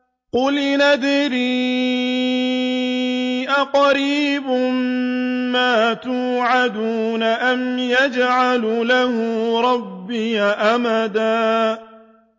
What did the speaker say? قُلْ إِنْ أَدْرِي أَقَرِيبٌ مَّا تُوعَدُونَ أَمْ يَجْعَلُ لَهُ رَبِّي أَمَدًا